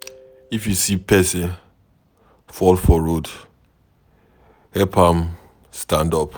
If you see pesin fall for road, help am stand up.